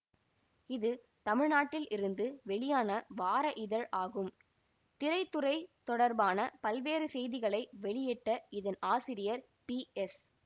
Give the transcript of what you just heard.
இது தமிழ்நாட்டில் இருந்து வெளியான வார இதழ் ஆகும் திரைத்துறை தொடர்பான பல்வேறு செய்திகளை வெளியிட்ட இதன் ஆசிரியர் பிஎஸ்